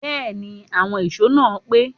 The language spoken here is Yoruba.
Bẹ́ẹ̀ni, àwọn ìṣó náà pé